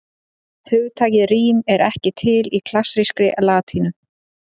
Hugtakið rím er ekki til í klassískri latínu.